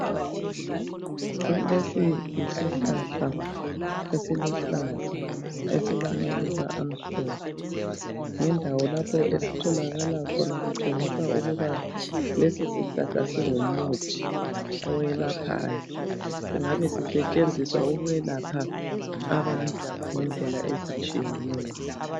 Lesi yisihlahla esiluhlaza esilamaluba amhlophe. Lendawo lapha esitholakala khona kutshengisa ukuba lesisihlahla singumuthi owelaphayo. Singabe sisetshenziswa ukwelapha abantu ngendlela ezitshiyeneyo.